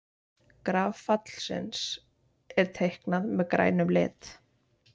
Graf fallsins er teiknað með grænum lit.